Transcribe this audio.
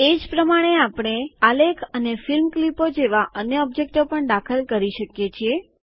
એ જ રીતે આપણે આલેખ અને ફિલ્મ ક્લિપો જેવા અન્ય ઓબ્જેક્ટો પણ દાખલ કરી શકીએ છીએ